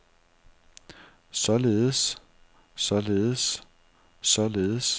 således således således